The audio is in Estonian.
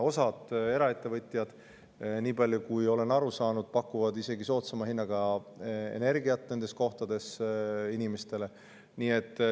Osa eraettevõtjaid, nii palju kui olen aru saanud, pakub inimestele isegi soodsama hinnaga energiat nendes kohtades.